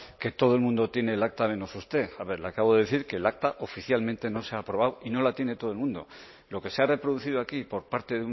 que todo el mundo tiene el acta menos usted a ver le acabo de decir que el acta oficialmente no se ha aprobado y no la tiene todo el mundo lo que se ha reproducido aquí por parte